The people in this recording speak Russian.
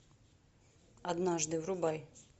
однажды врубай